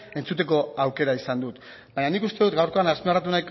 entzuteko aukera izan dut baina nik uste dut gaurkoan azpimarratu